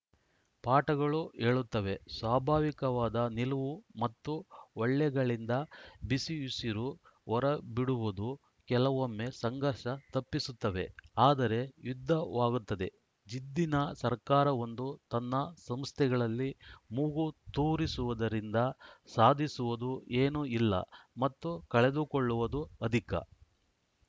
ಪಾಠಗಳು ಹೇಳುತ್ತವೆ ಸ್ವಾಭಾವಿಕವಾದ ನಿಲವು ಮತ್ತು ಹೊಳ್ಳೆಗಳಿಂದ ಬಿಸಿಯುಸಿರು ಹೊರಬಿಡುವುದು ಕೆಲವೊಮ್ಮೆ ಸಂಘರ್ಷ ತಪ್ಪಿಸುತ್ತವೆ ಆದರೆ ಯುದ್ಧವಾಗುತ್ತದೆ ಜಿದ್ದಿನ ಸರ್ಕಾರವೊಂದು ತನ್ನ ಸಂಸ್ಥೆಗಳಲ್ಲಿ ಮೂಗು ತೂರಿಸುವುದರಿಂದ ಸಾಧಿಸುವುದು ಏನೂ ಇಲ್ಲ ಮತ್ತು ಕಳೆದುಕೊಳ್ಳುವುದು ಅಧಿಕ